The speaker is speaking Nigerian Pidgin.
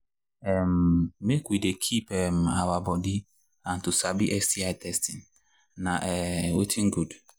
um make we they keep um our body and to sabi sti testing na um watin good